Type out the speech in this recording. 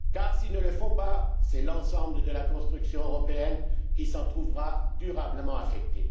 S'ils ne le font pas, c'est l'ensemble de la construction européenne qui s'en trouvera durablement affectée.